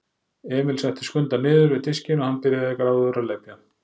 Emil setti Skunda niður við diskinn og hann byrjaði gráðugur að lepja.